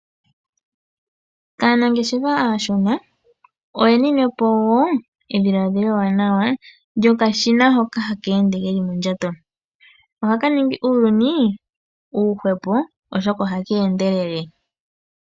Aanangeshefa aashona oyeninepo wo ediladhilo ewanawa lyokashina hoka hakeende keli mondjato ohaka ningi uuyuni uushwepo oshoka ohaka endelele.